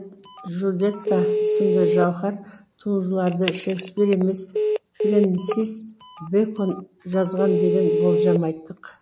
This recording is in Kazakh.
джульетта сынды жауһар туындыларды шекспир емес френсис бэкон жазған деген болжам айттық